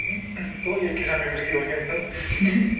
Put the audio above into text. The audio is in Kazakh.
мен сол еркежанмен бірге оянамын